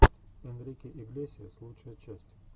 энрике иглесиас лучшая часть